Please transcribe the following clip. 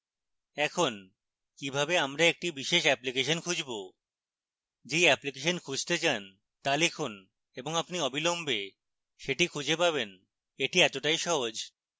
এখন কিভাবে আমরা একটি বিশেষ অ্যাপ্লিকেশন খুঁজবো যেই অ্যাপ্লিকেশন খুঁজতে চান তা লিখুন এবং আপনি অবিলম্বে সেটি খুঁজে পাবেন এটি এতটাই সহজ!